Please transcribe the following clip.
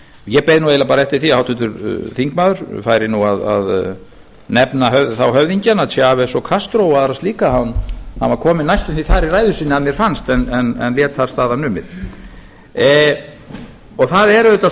ég beið nú eiginlega bara eftir því að háttvirtur þingmaður færi að nefna höfðingjana þá chavez og castro og aðrar slíka hann var kominn næstum því þar í ræðu sinni að mér fannst en lét þar staðar numið það er auðvitað